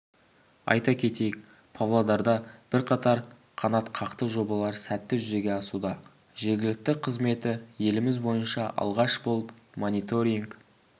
айта кетейік павлодарда бірқатар қанатқақты жобалар сәтті жүзеге асуда жергілікті қызметі еліміз бойынша алғаш болып мониторинг